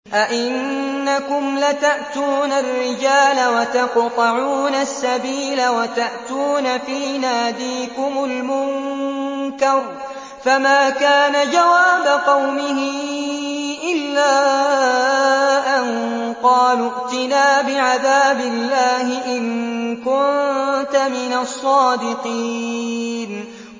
أَئِنَّكُمْ لَتَأْتُونَ الرِّجَالَ وَتَقْطَعُونَ السَّبِيلَ وَتَأْتُونَ فِي نَادِيكُمُ الْمُنكَرَ ۖ فَمَا كَانَ جَوَابَ قَوْمِهِ إِلَّا أَن قَالُوا ائْتِنَا بِعَذَابِ اللَّهِ إِن كُنتَ مِنَ الصَّادِقِينَ